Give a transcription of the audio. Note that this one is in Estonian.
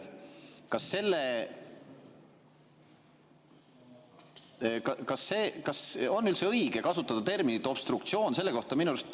Kas on üldse õige kasutada terminit "obstruktsioon" selle kohta?